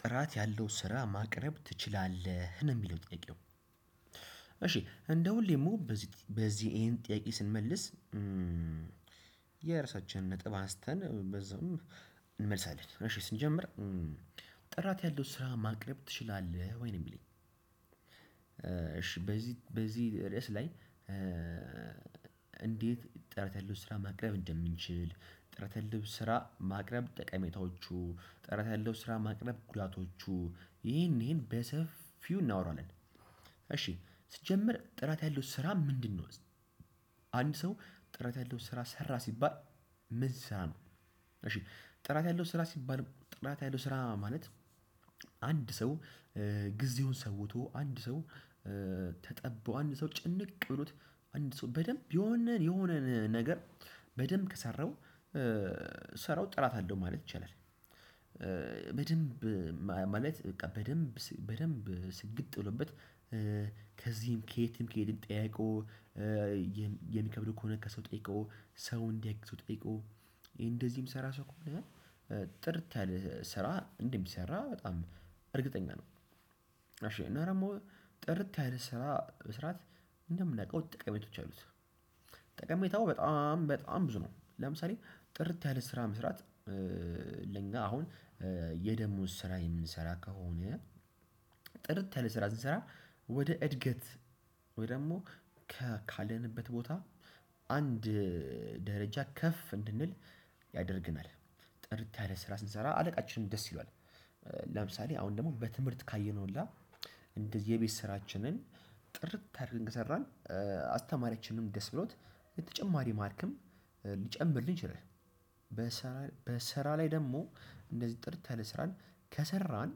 ጥራት ያለው ስራ ማቅረብ ትችላለህ ነው የሚለው ጥያቄው እሺ እንደሁሌም በዚህ በዚህ ይሄን ጥያቄ ስንመልስ። የራሳችንን ነጥብ አስተን በዛውም እንመልሳለን እሺ ስንጀምር። ጥራት ያለው ስራ ማቅረብ ትችላለህ ወይ ነው እሚለኝ? እሺ በዚህ በዚህ ርዕስ ላይ እንዴት ጥራት ያለው ስራ ማቅረብ እንደምንችል? ጥራት ያለው ስራ ማቅረብ ጠቀሜታዎቹ ጥራት ያለው ስራ ማቅረብ ጉዳቶቹ ይሄን ይሄን በሰፊው እናወራለን። እሺ ሲጀምር ጥራት ያለው ስራ ምንድነው? አንድ ሰው ጥራት ያለው ስራ ሰራ ሲባል ምን ሲሰራ ነው? እሺ ጥራት ያለው ስራ ሲባል ጥራት ያለው ስራ ማለት። አንድ ሰው ጊዜውን ሰውቶ አንድ ሰው ተጠቦ አንድ ሰው ጭንቅ ብሎት አንድ ሰው በደንብ የሆነን የሆነን ነገር በደንብ ከሰራው ስራው ጥራት አለው ማለት ይቻላል። በደንብ ማለት በቃ በደንብ በደንብ ስግጥ ብሎበት ከዚህም ከየትም ከየትም ጠያይቆ የሚከብደው ከሆነ ከሰው ጠይቆ ሰው እንዲያውቅ ሰው ጠይቆ እንደዚህም ሰራ ሰው ከሆነ ጥርት ያለ ስራ እንደሚሰራ በጣም እርግጠኛ ነው። እሺ እና ደግሞ ጥርት ያለ ስራ መስራት እንደምናውቀው ጠቀሜቶች አሉት። ጠቀሜታው በጣም በጣም ብዙ ነው። ለምሳሌ ጥርት ያለ ስራ መስራት ለኛ አሁን የደሞዝ ስራ የምንሰራ ከሆነ ጥርት ያለ ስራ ስንሰራ ወደ እድገት ወይ ደግሞ ካለንበት ቦታ አንድ ደረጃ ከፍ እንድንል ያደርገናል ጥርት ያለ ስራ ስንሰራ አለቃችንም ደስ ይሏል። ለምሳሌ አሁን ደግሞ በትምህርት ካየነውሁላ እንደዚህ የቤት ስራችንን ጥርት አርገን ከሰራን አስተማረችንም ደስ ብሎት የተጨማሪ ማርክም ሊጨምርልህ ይችላል። በስራ በስራ ላይ ደግሞ እንደዚህ ጥርት ያለ ስራን ከሰራን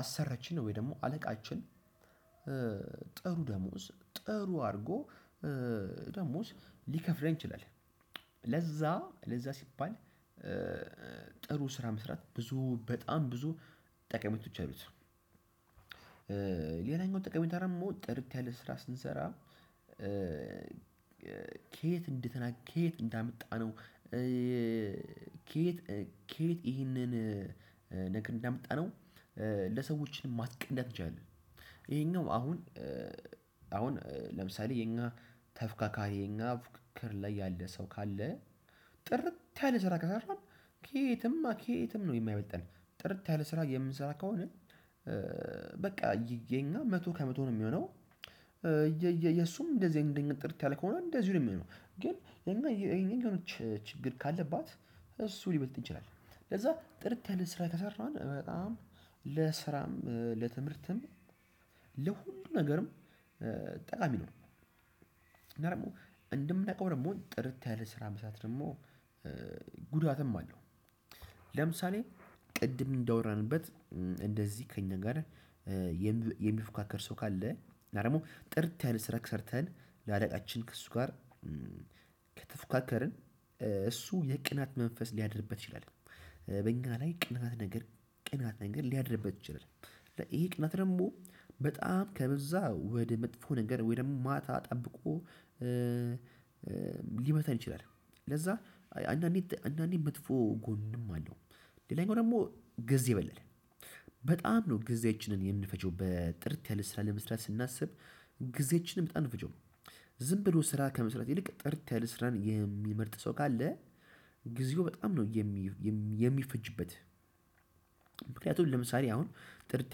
አሰሪአችን ወይ ደግሞ አለቃችን ጥሩ ደሞዝ ጥሩ አድርጎ ደሞዝ ሊከፍለን ይችላል። ለዛ ለዛ ሲባል ጥሩ ስራ መስራት ብዙ በጣም ብዙ ጠቀሜቶች አሉት። ሌላኛው ጠቀሜታ ደግሞ ጥርት ያለ ስራ ስንሰራ ከየት እንደተ ከየት እንዳመጣ ነው? ከየት ከየት ይህንን እንዳመጣነው ለሰዎችንም ማስቀዳት እንችላለን። ይሄኛው አሁን አሁን ለምሳሌ የኛ ተፎካካሪ የኛ ፉክክር ላይ ያለ ሰው ካለ ጥርት ያለ ስራ ከሰራን ከየትም ከየትም ነው የማይበልጠን ጥርት ያለ ስራ የምንሰራ ከሆነ በቃ የኛ መቶ ከመቶ ነው የሚሆነው። የእሱም እንደዚህ አይነት ጥርት ያለ ከሆነ እንደዚህ ነው የሚሆነው። ግን የኛ የኔን የሆነች ችግር ካለባት እሱ ሊበልጥ እንችላለን። ለዛ ጥርቅ ያለ ስራ ከሰራን በጣም ለስራም ለትምህርትም ለሁሉም ነገርም ጠቃሚ ነው። እና ደግሞ እንደምናውቀው ደግሞ ጥርት ያለ ስራ መስራት ደግሞ ጉዳትም አለው። ለምሳሌ ቅድም እንዳወራንበት እንደዚህ ከእኛ ጋር የሚፎካከር ሰው ካለ እና ደግሞ ጥርት ያለ ስራ ሰርተን ለአለቃችን ከእሱ ጋር ከተፎካከርን እሱ የቅናት መንፈስ ሊያድርበት ይችላል። በእኛ ላይ ቅናት ነገር ቅናት ነገር ሊያድርበት ይችላል። ይሄ ቅናት ደግሞ በጣም ከበዛ ወደ መጥፎ ነገር ወይ ደግሞ ማታ ጠብቆ ሊመታን ይችላል። ለዛ አንዳንዴ አንዳንዴ መጥፎ ጎንም አለው። ሌላኛው ደግሞ ጊዜ ይበላል በጣም ነው ጊዜያችንን የምንፈጀው በጥርት ያለ ስራ ለመስራት ስናስብ። ጊዜያችንን በጣም ነው እምንፈጀው። ዝም ብሎ ስራ ከመስራት ይልቅ ጥርት ያለ ስራን የሚመርጥ ሰው ካለ ጊዜው በጣም ነው የሚፈጅበት። ምክንያቱም ለምሳሌ አሁን ጥርት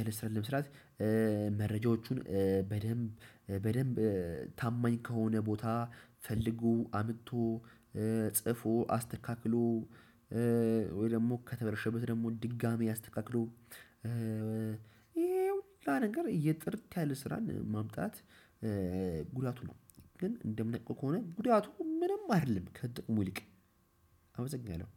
ያለ ስራ ለመስራት መረጃዎቹን በደንብ በደንብ ታማኝ ከሆነ ቦታ ፈልጎ አምጥቶ ጽፎ አስተካክሎ ወይ ደግሞ ከተበላሸበት ደግሞ ድጋሚ ያስተካክሎ ይሄ ሁሉ ነገር ጥርት ያለ ስራን ማምጣት ጉዳቱ ነው። ግን እንደምናውቀው ከሆነ ጉዳቱ ምንም አይደለም ከጥቅሙ ይልቅ። አበዛኛው